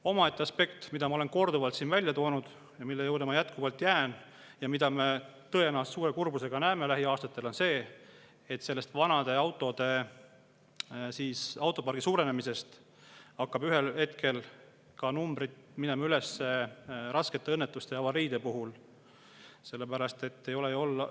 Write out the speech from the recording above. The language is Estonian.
Omaette aspekt, mida ma olen korduvalt siin välja toonud ja mille juurde ma jätkuvalt jään, on see, et vanade autode suurenemise tõttu autopargis hakkavad ühel hetkel üles minema raskete õnnetuste ja avariide numbrid, mida me tõenäoliselt suure kurbusega näeme lähiaastatel.